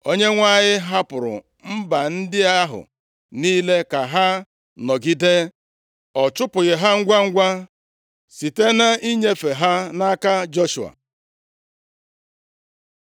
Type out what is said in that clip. Onyenwe anyị hapụrụ mba ndị ahụ niile ka ha nọgide. Ọ chụpụghị ha ngwangwa site na inyefe ha nʼaka Joshua.